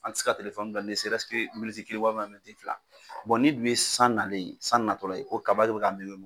An ti se ka telefɔni bila ne se ɛrɛsi ke miniti kelen walima miniti fila bɔn n'i dun ye san nalen ye san natɔla ye ko kaba de be ka mɛgɛru